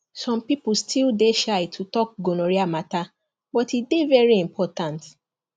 some people still dey shy to talk gonorrhea matter but e dey very important